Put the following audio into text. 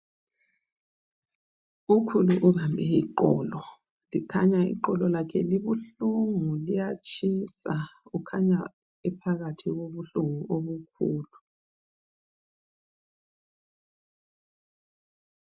Ukhulu ubambe iqolo kukhanya iqolo lakhe libuhlungu liyatshisa, ukhanya ephakathi kobuhlungu obukhulu.